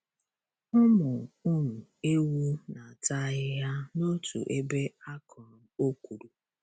Ụmụ um ewu na-ata ahịhịa n'otu ebe a kụrụ okwuru.